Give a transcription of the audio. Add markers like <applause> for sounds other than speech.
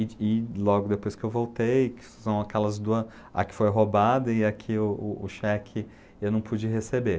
<unintelligible> E logo depois que eu voltei, que são aquelas duas, a que foi roubada e a que o o o cheque eu não pude receber.